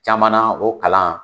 Caman na o kalan